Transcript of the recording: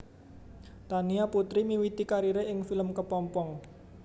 Tania Putri miwiti karire ing film Kepompong